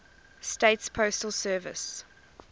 states postal service